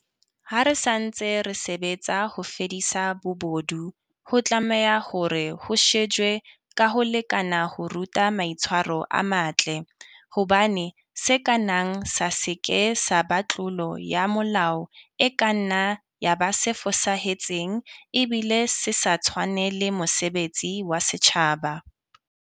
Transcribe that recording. Ha re ntse re sebetsa ho fedisa bobodu, ho tlameha hore ho shejwe ka ho lekana ho ruta maitshwaro a matle, hobane se ka nnang sa se ke sa ba tlolo ya molao e kanna ya ba se fosahetseng ebile se sa tshwanele mosebetsi wa setjhaba.